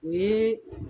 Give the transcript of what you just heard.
U ye